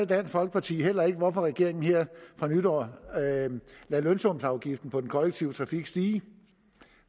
dansk folkeparti heller ikke hvorfor regeringen her fra nytår lader lønsumsafgiften på den kollektive trafik stige